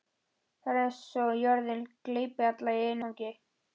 Það er eins og jörðin gleypi alla í einu vetfangi.